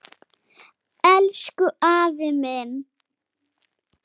Elsku afi minn!